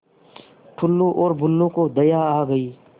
टुल्लु और बुल्लु को दया आ गई